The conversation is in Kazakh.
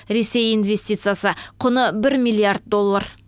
ресей инвестициясы құны бір миллиард доллар